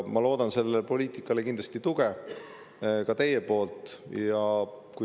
Ma loodan sellele poliitikale kindlasti tuge, ka teie poolt.